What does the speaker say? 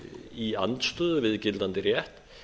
í andstöðu við gildandi rétt